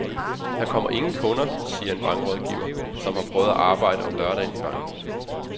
Der kommer ingen kunder, siger en bankrådgiver, som har prøvet at arbejde om lørdagen i banken.